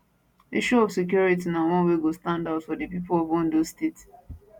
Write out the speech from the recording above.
issue of security na one wey go stand out for di pipo of ondo state